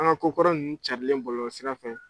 An ka ko kɔrɔ ninnu cɛrili bɔlɔlɔsira fɛ.